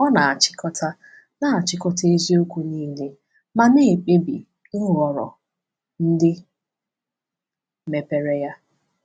Ọ na-achịkọta na-achịkọta eziokwu niile ma na-ekpebi nhọrọ ndị mepere ya.